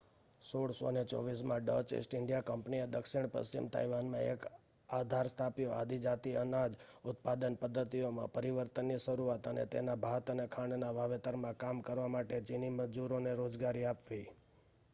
1624 માં Dutch East India કંપનીએ દક્ષિણ પશ્ચિમ તાઇવાનમાં એક આધાર સ્થાપ્યો આદિજાતિ અનાજ ઉત્પાદન પદ્ધતિઓમાં પરિવર્તનની શરૂઆત અને તેના ભાત અને ખાંડના વાવેતરમાં કામ કરવા માટે ચિની મજૂરોને રોજગારી આપવી